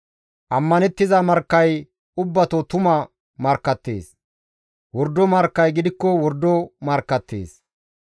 Ammanettiza markkay ubbato tuma markkattees; wordo markkay gidikko wordo markkattees.